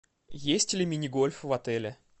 есть ли мини гольф в отеле